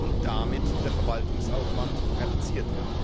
und damit der Verwaltungsaufwand reduziert wird.